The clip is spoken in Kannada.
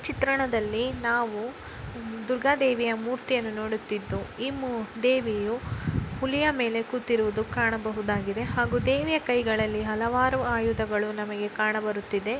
ಚಿತ್ರಣದಲ್ಲಿ ನಾವು ದುರ್ಗ ದೇವಿಯ ಮೂರ್ತಿಯನ್ನು ನೋಡುತ್ತಿದ್ದೋ ದೇವಿಯು ಹುಲಿಯ ಮೇಲೆ ಕೂತಿರುವುದು ಕಾಣಬಹುದಾಗಿದೆ ಹಾಗೂ ದೇವಿಯ ಕೈಯಲ್ಲಿ ಹಲವಾರು ಆಯುಧಗಳು ಕಾಣ ಬರುತ್ತಿದೆ.